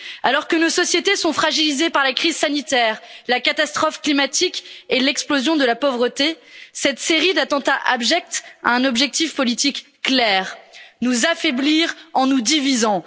Alors que nos sociétés sont fragilisées par la crise sanitaire, la catastrophe climatique et l'explosion de la pauvreté, cette série d'attentats abjects a un objectif politique clair nous affaiblir en nous divisant.